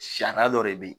Sariya dɔ de be yen